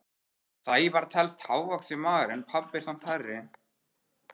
Sævar telst hávaxinn maður en pabbi er samt hærri.